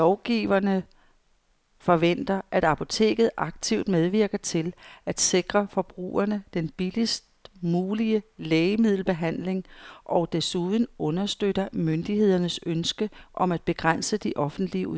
Lovgiverne forventer, at apoteket aktivt medvirker til at sikre forbrugerne den billigst mulige lægemiddelbehandling og desuden understøtter myndighedernes ønske om at begrænse de offentlige udgifter.